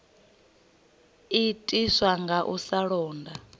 itiswa nga u sa londa